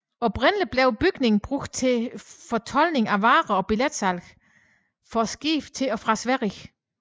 Oprindeligt blev bygningen brugt til fortoldning af varer og billetsalg for skibe til og fra Sverige